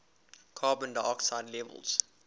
carbon dioxide levels